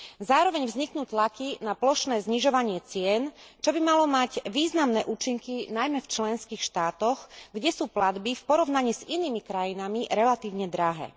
Zároveň vzniknú tlaky na plošné znižovanie cien, čo by malo mať významné účinky najmä v členských štátoch, kde sú platby v porovnaní s inými krajinami relatívne drahé.